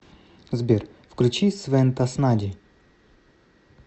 сбер включи свен таснади